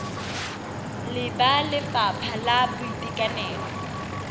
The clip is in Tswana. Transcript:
le ba lefapha la boitekanelo